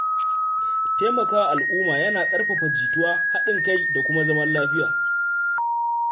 Taimakawa al’umma yana ƙarfafa jituwa, haɗin kai da zaman lafiya.